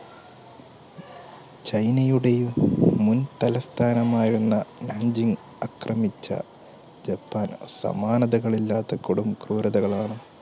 ചൈനയുടെയും മുൻതലസ്ഥാനമായിരുന്ന ആക്രമിച്ച ജപ്പാൻ സമാനതകളില്ലാത്ത കൊടും ക്രൂരതകളാണ്